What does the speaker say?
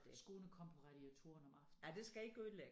Skoene kom på radiatoren om aftenen